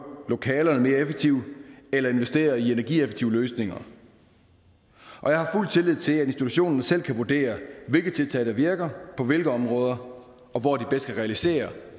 lokalerne mere effektivt eller investere i energieffektive løsninger jeg har fuld tillid til at institutionerne selv kan vurdere hvilke tiltag der virker på hvilke områder og hvor de bedst kan realisere